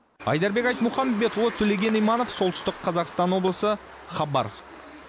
айдарбек айтмұхамбетұлы төлеген иманов солтүстік қазақстан облысы хабар